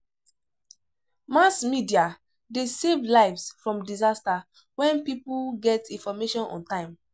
Mass media de save lives from disaster when pipo get information on time